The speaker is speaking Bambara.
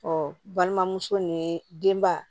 balimamuso ni denba